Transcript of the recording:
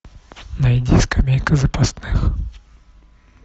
найди скамейка запасных